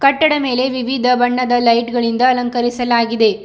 ಕಟ್ಟಡ ಮೇಲೆ ವಿವಿಧ ಬಣ್ಣದ ಲೈಟ್ ಗಳಿಂದ ಅಲಂಕರಿಸಲಾಗಿದೆ.